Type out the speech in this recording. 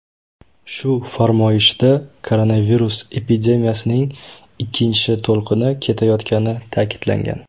Shu farmoyishda koronavirus epidemiyasining ikkinchi to‘lqini ketayotgani ta’kidlangan .